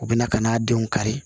U bɛna ka n'a denw kari